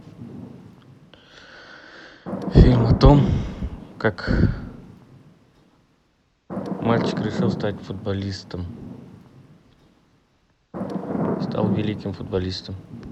фильм о том как мальчик решил стать футболистом стал великим футболистом